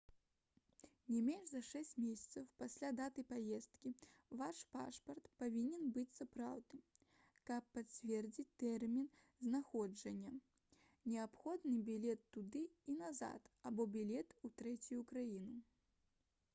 не менш за 6 месяцаў пасля даты паездкі ваш пашпарт павінен быць сапраўдным каб пацвердзіць тэрмін знаходжання неабходны білет туды і назад або білет у трэцюю краіну